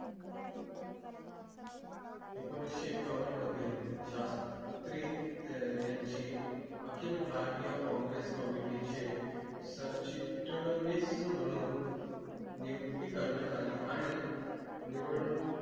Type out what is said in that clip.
एकोणीस एकावन्न मध्ये शास्त्री यांची अखिल भारतीय कॉंग्रेस committee चे सरचिटणीस म्हणून नियुक्ती करण्यात आली आणि निवडणूक